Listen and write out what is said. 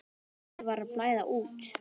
Henni var að blæða út.